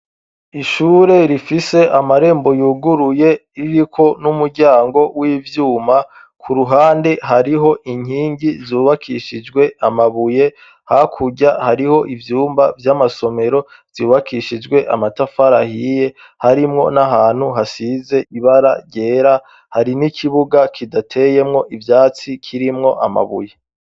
Ishure rifise amarembo yuguruye ririko n'umuryango w'ivyuma, ku ruhande hariho inkingi zubakishijwe amabuye, hakurya hariho ivyumba vy' amasomero vyubakishijwe amatafari ahiye, harimwo n'ahantu, hasize ibara ryera, hari n'ikibuga kidateyemwo ivyatsi kirimwo amabuye.